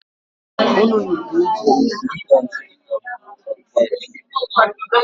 Nnụnụ ga-eji nke nta nke nta wuo akwụ ya.